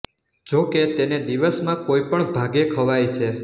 જોકે તેને દિવસમાં કોઈ પણ ભાગે ખવાય છે